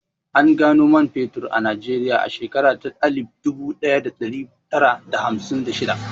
An gano man fetur a Najeriya a shekara ta alif dubu ɗaya da ɗari tara da hamsin da shidda